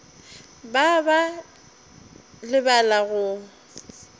ba ba ba lebala go